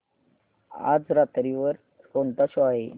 आज रात्री वर कोणता शो आहे